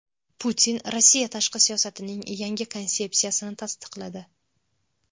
Putin Rossiya tashqi siyosatining yangi konsepsiyasini tasdiqladi.